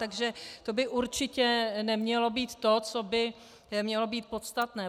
Takže to by určitě nemělo být to, co by mělo být podstatné.